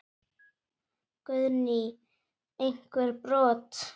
Guðný: Einhver brot?